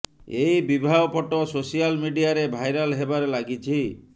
ଏହି ବିବାହ photo social ମିଡିଆରେ ଭାଇରାଲ ହେବାରେ ଲାଗିଛି